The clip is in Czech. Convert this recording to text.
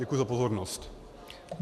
Děkuji za pozornost.